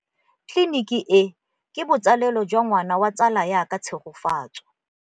Tleliniki e, ke botsalêlô jwa ngwana wa tsala ya me Tshegofatso.